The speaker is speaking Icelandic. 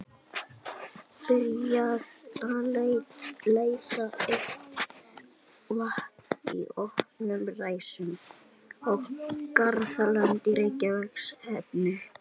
Byrjað að leiða heitt vatn í opnum ræsum um garðlönd í Reykjahverfi.